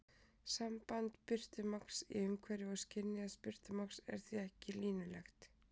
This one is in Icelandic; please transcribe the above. Samband birtumagns í umhverfi og skynjaðs birtumagns er því ekki línulegt.